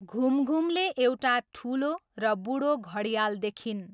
घुमघुमले एउटा ठुलो र बुढो घडियाल देखिन्।